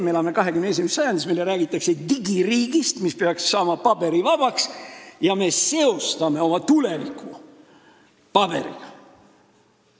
Me elame 21. sajandis, meile räägitakse digiriigist, mis peaks saama paberivabaks, aga me seostame oma tuleviku paberiga.